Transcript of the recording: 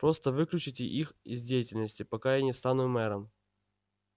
просто выключите их из деятельности пока я не стану мэром